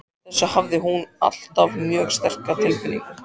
Fyrir þessu hafði hún alltaf mjög sterka tilfinningu.